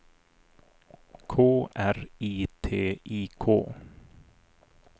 K R I T I K